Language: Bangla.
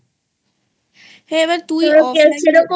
এবার তুই offline এ